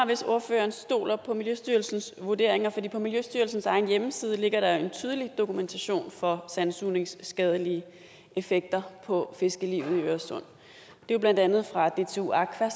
hvis ordføreren stoler på miljøstyrelsens vurderinger for på miljøstyrelsens egen hjemmeside ligger der jo en tydelig dokumentation for sandsugnings skadelige effekter på fiskelivet i øresund det er blandt andet fra dtu aqua og